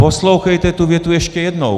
Poslouchejte tu větu ještě jednou.